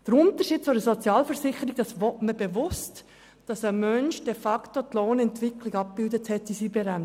In einer Sozialversicherung soll die Lohnentwicklung in der Berentung abgebildet sein.